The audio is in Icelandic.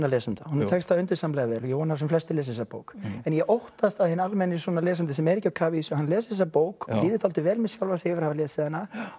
lesanda og tekst það undursamlega vel og ég vona að sem flestir lesi þessa bók en ég óttast að hinn almenni lesandi sem er ekki á kafi í þessu les þessa bók líður dálítið vel með sjálfan sig að hafa lesið hana